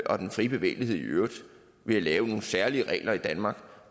og den frie bevægelighed i øvrigt ved at lave nogle særlige regler i danmark